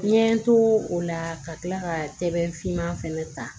N ye n to o la ka tila ka sɛbɛn fiman fɛnɛ ta